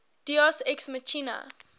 deus ex machina